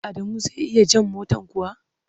Adamu zai iya jan motar kuwa?